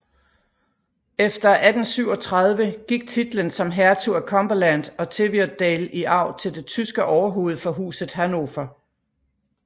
Efter 1837 gik titlen som hertug af Cumberland og Teviotdale i arv til det tyske overhoved for Huset Hannover